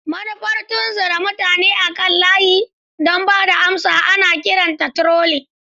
Manufar tunzura mutane akan layi don ba da amsa ana kiranta trolling.